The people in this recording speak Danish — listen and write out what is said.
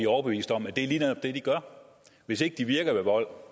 overbevist om at det lige netop er det de gør hvis ikke de virker ved vold